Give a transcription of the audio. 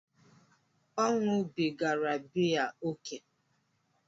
Ọ̀ ṅụrụbigara biya ókè?